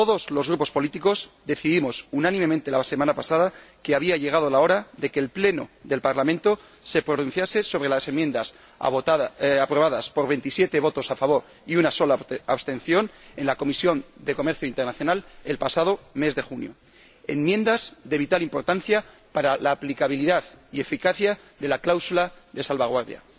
Todos los grupos políticos decidimos, unánimemente, la semana pasada que había llegado la hora de que el Pleno del Parlamento se pronunciase sobre las enmiendas aprobadas por 27 votos a favor y una sola abstención en la Comisión de Comercio Internacional el pasado mes de junio, enmiendas que son de vital importancia para la aplicabilidad y eficacia de la cláusula de salvaguardia.